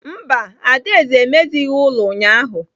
Mba, Adaeze emezighị ụlọ ụnyahụ.